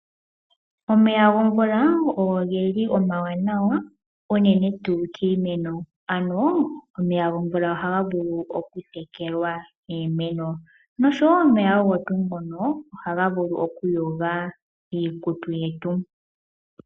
Omeya gomvula oge li omawanawa unene kiimeno, ano omeya gomvula ohaga vulu okutekelwa iimeno noshowoo omeya ohaga vulu okuyoga iikutu yetu.